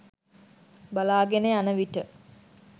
බලාගෙන යන විට